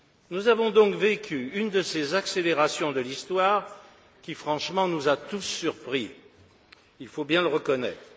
Nous avons donc vécu une de ces accélérations de l'histoire qui, franchement, nous a tous surpris, il faut bien le reconnaître.